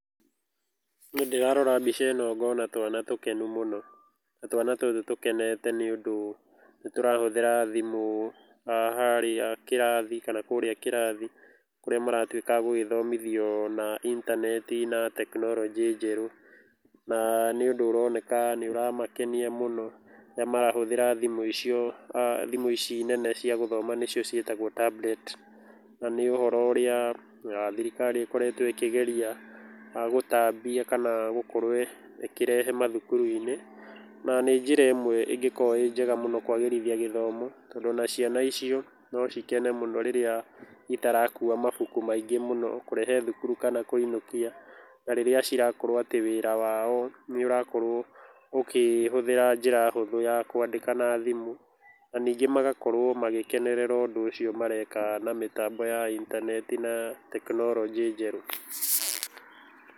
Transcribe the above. Niĩ ndĩrarora mbica ĩno ngona twana tũkenu mũno. Na twana tũtũ tũkenete nĩ ũndũ nĩ tũrahũthĩra thimũ harĩa kĩrathi kana kũrĩa kĩrathi kũrĩa maratuĩka agũgĩthomithio na intaneti ũhoro wa tekinoronjĩ njerũ. Na nĩ ũndũ ũroneka nĩ ũramakenia mũno rĩrĩa marahũthĩra thimũ icio, thimũ ici nene cia gũthoma nĩcio ciĩtagwo tablet. Na nĩ ũhoro ũrĩa thirikari ĩkoretwo ĩkĩgeria gũtambia kana gũkorwo ĩkĩrehe mathukuru-inĩ. Na nĩ njĩra ĩmwe ĩngĩkorũo ĩĩ njega mũno kũagĩrithia gĩthomo tondũ ona ciana icio no cikene mũno rĩrĩa itarakuwa mabuku maingĩ mũno kũrehe thukuru kana kũinũkia. Na rĩrĩa cirakorũo atĩ wĩra wao nĩ ũrakorũo ũkĩhũthĩra njĩra hũthũ ya kwandĩka na thimũ. Na ningĩ magakorũo magĩkenerera ũndũ ũcio mareka na mĩtambo ya intaneti na tekinoronjĩ njerũ.